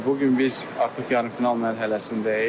Bu gün biz artıq yarımfinal mərhələsindəyik.